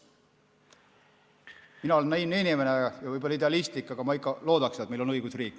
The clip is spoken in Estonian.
Mina olen võib-olla naiivne ja idealistlik inimene, aga ma ikka loodaks, et meil on õigusriik.